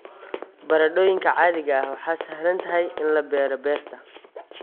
Baradhooyinka caadiga ah waa sahlan tahay in la beero beerta.